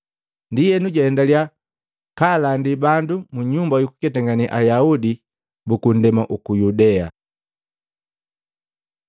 Ndienu jwaendalya kaalandi bandu mu nyumba yukuketangane Ayaudi buku ndema uku Yudea.